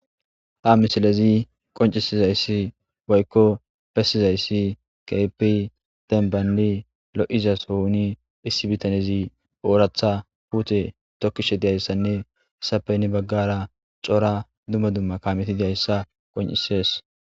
Ha missilezi bessizayssi woyko konccisizayssi kehippe dembban lo'iza sohon issi biitanezi oraththa puute tokkishe dizayssine hessappe hano baggara cora dumma dumma kaameti dizayssa qonccisess.